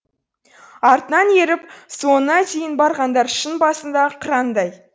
артынан еріп соңына дейін барғандар шың басындағы қырандай